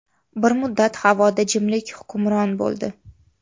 Bir muddat havoda jimlik hukmron bo‘ldi.